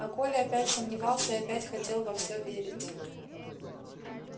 а коля опять сомневался и опять хотел во все верить